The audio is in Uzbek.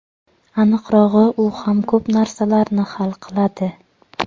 Aniqrog‘i, u ham ko‘p narsalarni hal qiladi.